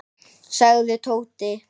sagði Tóti.